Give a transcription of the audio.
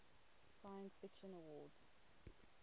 science fiction awards